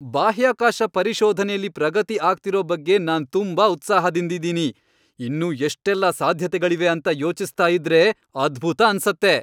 ಬಾಹ್ಯಾಕಾಶ ಪರಿಶೋಧನೆಲಿ ಪ್ರಗತಿ ಆಗ್ತಿರೋ ಬಗ್ಗೆ ನಾನ್ ತುಂಬಾ ಉತ್ಸಾಹದಿಂದಿದೀನಿ! ಇನ್ನೂ ಎಷ್ಟೆಲ್ಲಾ ಸಾಧ್ಯತೆಗಳಿವೆ ಅಂತ ಯೋಚಿಸ್ತಾ ಇದ್ರೆ ಅದ್ಭುತ ಅನ್ಸತ್ತೆ.